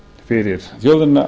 fyrir þjóðina